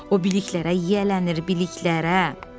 O biliklərə yiyələnir, biliklərə.